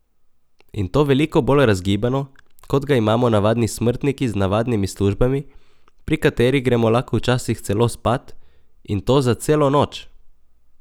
In to veliko bolj razgibano, kot ga imamo navadni smrtniki z navadnimi službami, pri katerih gremo lahko včasih celo spat, in to za celo noč!